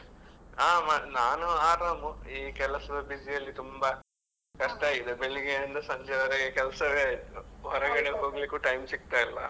ಹಾ ನಾನು ಆರಾಮು, ಈ ಕೆಲಸದ busy ಅಲ್ಲಿ ತುಂಬಾ ಕಷ್ಟ ಇದೆ ಬೆಳಿಗ್ಗೆ ಇಂದ ಸಂಜೆವರೆಗೆ ಕೆಲಸವೇ ಆಯ್ತು ಹೊರಗಡೆ ಹೋಗ್ಲಿಕ್ಕೂ time ಸಿಕ್ತಾ ಇಲ್ಲ.